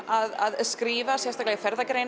að skrifa sérstaklega